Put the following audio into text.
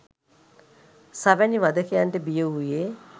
ස වැනි වධකයන්ට බිය වූයේ